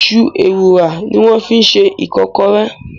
Iṣu Ewùrà ni wọ́n fi ṣe Ìkọ́kọrẹ́